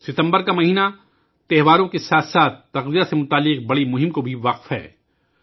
ستمبر کا مہینہ تہواروں کے ساتھ ساتھ تغذیہ سے متعلق ایک بڑی مہم کے لئے وقف ہے